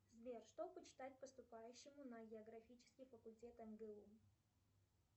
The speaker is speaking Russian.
сбер что почитать поступающему на географический факультет мгу